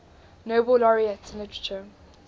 nobel laureates in literature